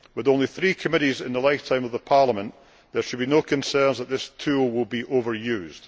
With only three committees in the lifetime of the Parliament, there should be no concerns that this tool will be overused.